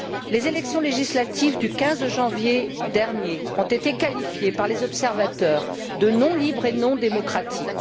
Les élections législatives du 15 janvier dernier ont été qualifiées par les observateurs de non libres et de non démocratiques.